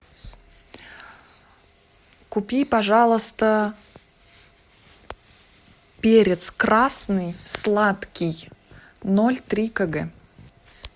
купи пожалуйста перец красный сладкий ноль три кг